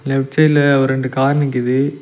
Left சைடுல ஒரு ரெண்டு கார் நிக்கிது.